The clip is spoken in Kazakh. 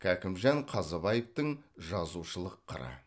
кәкімжан қазыбаевтың жазушылық қыры